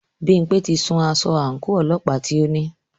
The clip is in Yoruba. Bímpé ti sun aṣọ àńkò ọlọ́pàá tí o ní.